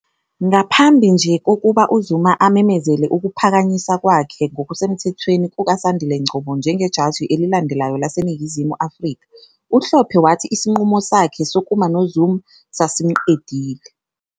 Ngaphambi nje kokuba uZuma amemezele ukuphakanyiswa kwakhe ngokusemthethweni kukaSandile Ngcobo njengejaji elilandelayo laseNingizimu Afrika, uHlophe wathi isinqumo sakhe sokuma noZuma sasimqedile.